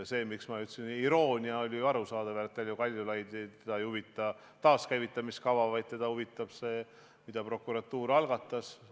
Miks ma nimetasin küsimust irooniliseks, on arusaadav, sest ega Kaljulaidi ei huvita taaskäivitamise kava, vaid teda huvitab see, mille prokuratuur algatas.